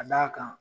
Ka d'a kan